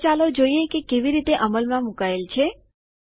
તો ચાલો જોઈએ તે કેવી રીતે અમલમાં મૂકાયેલ છે